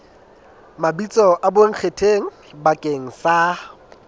mabitso a bonkgetheng bakeng sa